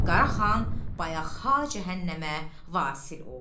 Qaraxan bayaq ha cəhənnəmə vasil oldu.